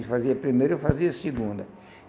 Ele fazia a primeira e eu fazia a segunda.